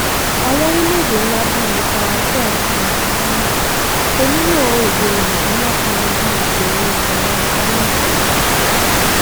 àwọn orílẹèdè ńlá bíi faransé àti ṣáínà kò nílò èdè òyìnbó láti yanjú ìṣòro ìmọ sáyẹǹsì wọn